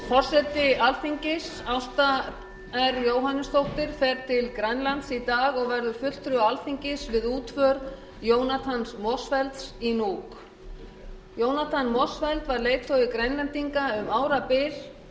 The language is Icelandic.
forseti alþingis ásta r jóhannesdóttir fer til grænlands í dag og verður fulltrúi alþingis við útför jonathans motzfeldts í nuuk jónatan motzfeldt var leiðtogi grænlendinga um árabil